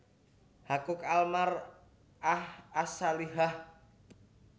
Haquq Al Mar ah As Salihah